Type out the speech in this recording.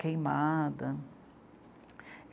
Queimada.